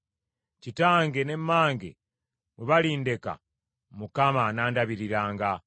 Kitange ne mmange bwe balindeka, Mukama anandabiriranga.